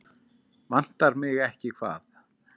Vantar mig ekki hvað?